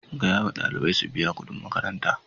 Gaya ma ɗalibai su biya kudin makaranta!